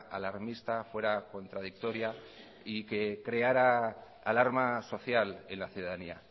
alarmista fuera contradictoria y que creará alarma social en la ciudadanía